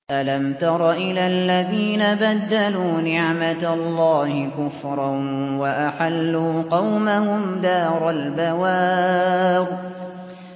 ۞ أَلَمْ تَرَ إِلَى الَّذِينَ بَدَّلُوا نِعْمَتَ اللَّهِ كُفْرًا وَأَحَلُّوا قَوْمَهُمْ دَارَ الْبَوَارِ